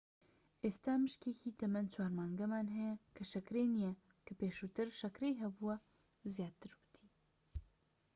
ئێستا مشکێکی تەمەن 4 مانگانەمان هەیە کە شەکرەی نیە کە پێشووتر شەکرەی هەبوو زیاتر ووتی